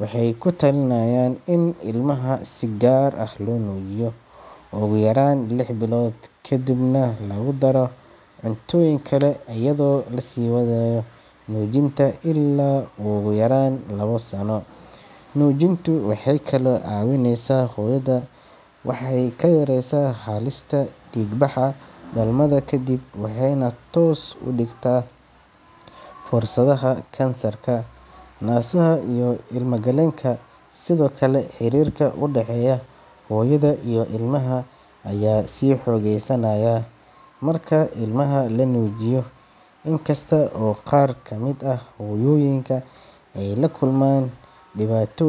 waxay ku talinayaan in ilmaha si gaar ah loo nuujiyo ugu yaraan lix bilood, ka dibna lagu daro cuntooyin kale iyadoo la sii wadayo nuujinta ilaa ugu yaraan laba sano. Nuujintu waxay kaloo caawisaa hooyada, waxay ka yareysaa halista dhiig baxa dhalmada kadib waxayna hoos u dhigtaa fursadaha kansarka naasaha iyo ilmo-galeenka. Sidoo kale, xiriirka u dhexeeya hooyada iyo ilmaha ayaa sii xoogeysanaya marka ilmaha la nuujiyo. Inkasta oo qaar kamid ah hooyooyinka ay la kulmaan dhibaatoo.